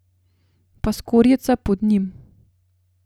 Pa skorjica pod njim.